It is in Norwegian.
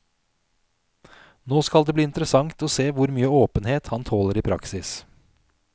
Nå skal det bli interessant å se hvor mye åpenhet han tåler i praksis.